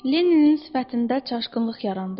Leninin sifətində çaşqınlıq yarandı.